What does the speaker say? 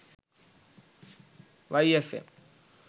y fm